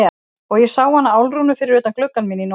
Og ég sá hana Álfrúnu fyrir utan gluggann minn í nótt.